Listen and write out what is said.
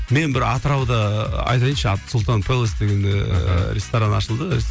мен бір атырауда айтайыншы аты сұлтан пеллос деген ыыы ресторан ашылды